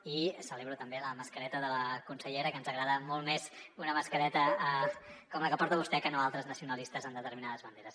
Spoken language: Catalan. i celebro també la mascareta de la consellera que ens agrada molt més una mascareta com la que porta vostè que no altres nacionalistes amb determinades banderes